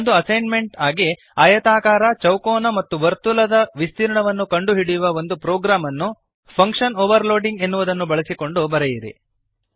ಒಂದು ಅಸೈನ್ಮೆಂಟ್ ಎಂದು ಆಯತಾಕಾರ ಚೌಕೋನ ಮತ್ತು ವರ್ತುಲದ ವಿಸ್ತೀರ್ಣವನ್ನು ಕಂಡು ಹಿಡಿಯುವ ಒಂದು ಪ್ರೊಗ್ರಾಮ್ ಅನ್ನು ಫಂಕ್ಶನ್ ಓವರ್ಲೋಡಿಂಗ್ ಎನ್ನುವುದನ್ನು ಬಳಸಿಕೊಂಡು ಬರೆಯಿರಿ